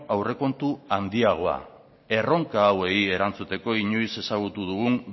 aurrekontu handiagoa erronka hauei erantzuteko inoiz ezagutu dugun